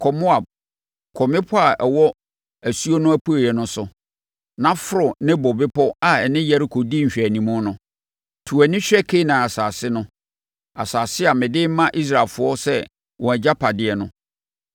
“Kɔ Moab, kɔ mmepɔ a ɛwɔ asuo no apueeɛ no so, na foro Nebo bepɔ a ɛne Yeriko di nhwɛanim no. To wʼani hwɛ Kanaan asase no, asase a mede rema Israelfoɔ sɛ wɔn agyapadeɛ no.